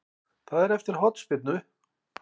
Það er eftir hornspyrnu.